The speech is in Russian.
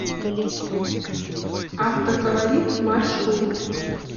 автоколорит маршрут